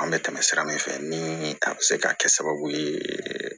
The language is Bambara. An bɛ tɛmɛ sira min fɛ ni a bɛ se ka kɛ sababu ye